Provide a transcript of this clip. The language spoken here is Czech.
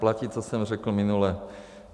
Platí, co jsem řekl minule.